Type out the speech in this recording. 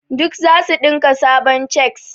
Duk zasu dinka sabon cheks.